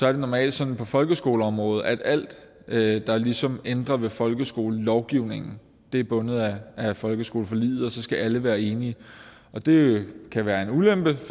er det normalt sådan på folkeskoleområdet at alt der ligesom ændrer ved folkeskolelovgivningen er bundet af folkeskoleforliget og så skal alle være enige og det kan være en ulempe